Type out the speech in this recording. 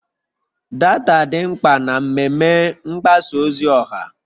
Data dị mkpa na mmemme mgbasa ozi ọha